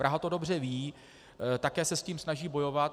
Praha to dobře ví, také se s tím snaží bojovat.